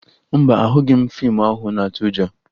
Mba, ahụghị m fiimu ahụ na-atụ ụjọ